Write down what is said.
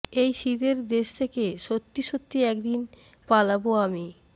এই শীতের দেশ থেকে সত্যি সত্যি একদিন পালাবো আমি